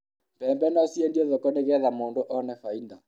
mbembe no ciendio thoko nĩgetha mũndũ one faida